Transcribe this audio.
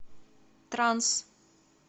транс